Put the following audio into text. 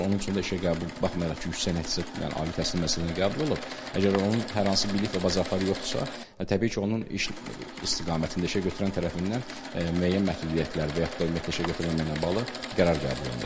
Onun üçün işə qəbul baxmayaraq ki, yüksək nəticəli ali təhsil müəssisəsinə qəbul olub, əgər onun hər hansı bilik və bacarıqları yoxdursa, təbii ki, onun iş istiqamətində işə götürən tərəfindən müəyyən məhdudiyyətlər və yaxud da ümumiyyətlə işə götürməməklə bağlı qərar qəbul olunur.